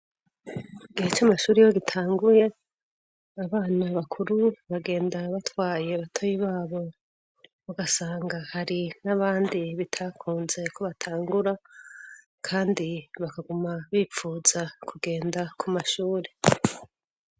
Igihe c'amashuri yo gitanguye, abana bakuru bagenda batwaye batoyi babo. Ugasanga, hari n'abandi bitakunzeko batangura, kandi bakaguma bipfuza kugenda ku mashuri.